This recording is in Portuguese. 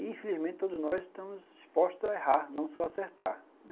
E infelizmente todos nós estamos expostos a errar, não só acertar.